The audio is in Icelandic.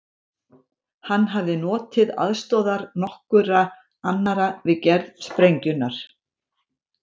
Hann hafði notið aðstoðar nokkurra annarra við gerð sprengjunnar.